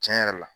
Tiɲɛ yɛrɛ la